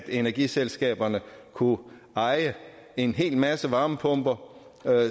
energiselskaberne kunne eje en hel masse varmepumper